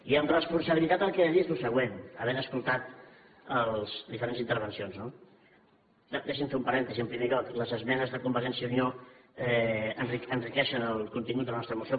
i amb responsabilitat perquè he de dir los el següent havent escoltat les diferents intervencions no deixi’m fer un parèntesi en primer lloc les esmenes de convergència i unió enriqueixen el contingut de la nostra moció